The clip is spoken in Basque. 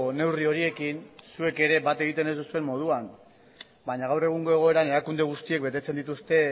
neurri horiekin zuek ere bat egiten ez duzuen moduan baina gaur egungo egoeran erakunde guztiek betetzen dituzte